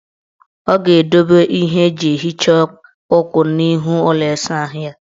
Ọ ga-edobe ihe eji ehicha ukwu n' ihu ụlọ isaahụ ya.